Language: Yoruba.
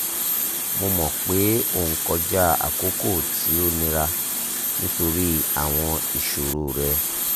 mo mọ pe o n kọja akoko ti o nira nitori awọn iṣoro rẹ